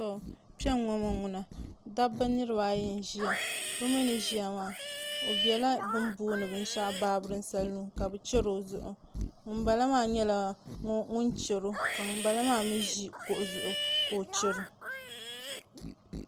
Dabba niraba ayi n ʒiya bi biɛla binshaɣu bi ni booni baabirin salun ka bi chɛri o zuɣu ŋunbala maa nyɛla ŋun chɛro ka ŋunbala maa mii ʒi kuɣu zuɣu ka o chɛro